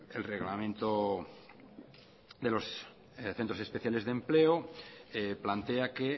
el reglamento de los centros especiales de empleo plantea que